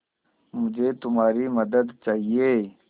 मुझे तुम्हारी मदद चाहिये